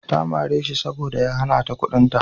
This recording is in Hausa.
Ta mare shi saboda ya hana ta kuɗinta.